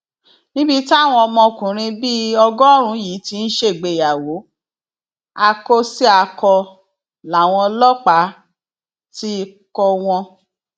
níbi táwọn ọmọkùnrin bíi ọgọrùnún yìí ti ń ṣègbéyàwó akósíakọ làwọn ọlọpàá ti kọ wọn